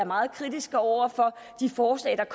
meget kritiske over for de forslag der